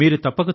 మెచ్చుకున్నారు